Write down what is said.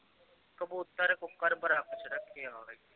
ਕਬੁਤਰ